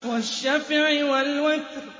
وَالشَّفْعِ وَالْوَتْرِ